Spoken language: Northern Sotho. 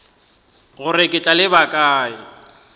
gore ke tla leba kae